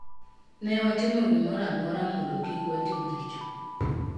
"Ne watimo gimoro amora mondo kik watim richo".